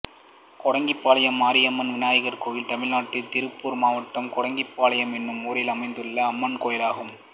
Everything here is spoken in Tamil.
கோடங்கிபாளையம் மாரியம்மன் விநாயகர் கோயில் தமிழ்நாட்டில் திருப்பூர் மாவட்டம் கோடங்கிபாளையம் என்னும் ஊரில் அமைந்துள்ள அம்மன் கோயிலாகும்